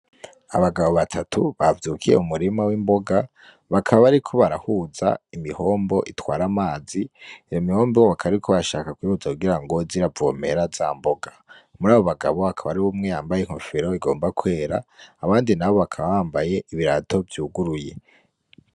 Abagabo batatu bavyukiye mu murima w'imboga, bakaba bariko barahuza imihombo itwara amazi, iyo mutombo bakaba bashaka kuyihuza kugira ngo ize iravomera za mboga. Muri abo bagabo hakaba harimwo umwe yambaye inkofero igomba kwera abandi nabo bakaba bambaye ibirato vyuguruye.